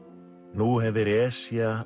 nú hefir Esja